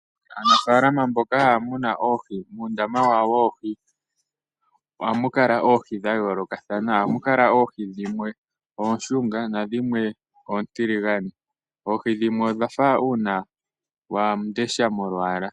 Aanafalama mboka haya munu oohi muundama wawo woohi ohamu kala muna oohi dhayolokathana. Ohamu kala oohi dhimwe oonshunga, dhimwe oontiligane noohi dhimwe odhafa uunawandesha molwala.